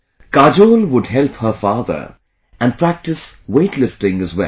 Kajol would help her father and practice weight lifting as well